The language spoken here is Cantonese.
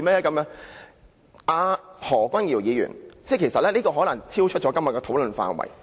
"我接下來的發言內容可能超出今天的討論範圍。